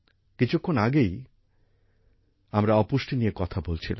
কিছুক্ষণ আগেই আমরা অপুষ্টি নিয়ে কথা বলছিলাম